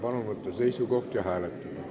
Palun võtta seisukoht ja hääletada!